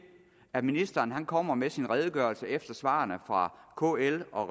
at ministeren kommer med sin redegørelse efter svarene fra kl og